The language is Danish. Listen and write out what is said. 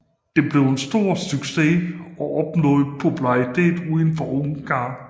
Det blev en stor succes og opnåede popularitet uden for Ungarn